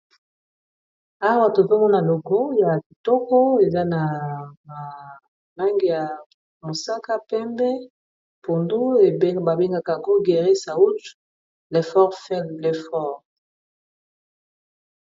Awa tozomona logo ya kitoko, eza na langi ya mosaka, pembe na pondu, babengaka Bergerie SAWU JANT l'effort fait les forts.